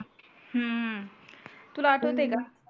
अं तुला आठवतंय का